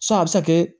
Sɔn a bɛ se ka kɛ